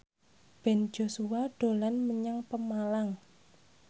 Ben Joshua dolan menyang Pemalang